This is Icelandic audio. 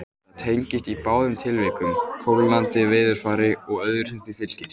Þetta tengist í báðum tilvikum kólnandi veðurfari og öðru sem því fylgir.